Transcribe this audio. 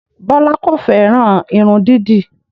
Bọlá kò fẹ́ràn irun dídì